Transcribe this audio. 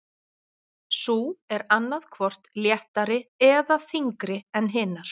sú er annað hvort léttari eða þyngri en hinar